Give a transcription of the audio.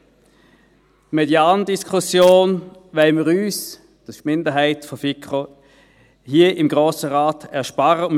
Die Median-Diskussion wollen wir uns, die Minderheit der Kommission, im Grossen Rat ersparen.